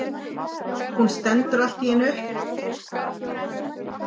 Hún stendur allt í einu upp.